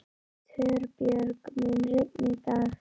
Torbjörg, mun rigna í dag?